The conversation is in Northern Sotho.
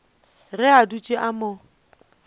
ge a dutše a mo